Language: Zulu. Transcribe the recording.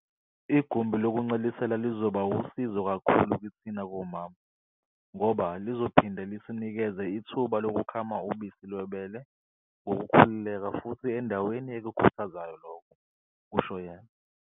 "Igumbi lokuncelisela lizoba wusizo kakhulu kithina bomama ngoba lizophinde lisinikeze ithuba lokukhama ubisi lwebele ngokukhululeka futhi endaweni ekukhuthazayo lokhu," kusho yena.